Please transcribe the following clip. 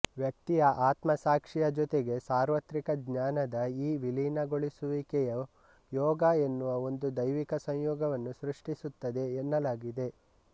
ವ್ಯಕ್ತಿಯ ಆತ್ಮಸಾಕ್ಷಿಯ ಜೊತೆಗೆ ಸಾರ್ವತ್ರಿಕ ಜ್ಞಾನದ ಈ ವಿಲೀನಗೊಳಿಸುವಿಕೆಯು ಯೋಗ ಎನ್ನುವ ಒಂದು ದೈವಿಕ ಸಂಯೋಗವನ್ನು ಸೃಷ್ಟಿಸುತ್ತದೆ ಎನ್ನಲಾಗಿದೆ